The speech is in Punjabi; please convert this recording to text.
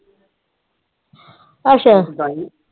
ਅੱਛਾ।